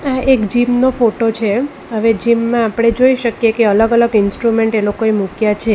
આ એક જીમ નો ફોટો છે હવે જીમ માં આપણે જોઈ શકીએ કે અલગ અલગ ઇન્સ્ટ્રુમેન્ટ એ લોકોએ મૂક્યા છે.